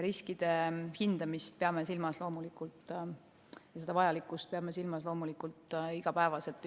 Riskide hindamist ja selle vajalikkust peame loomulikult silmas igapäevaselt.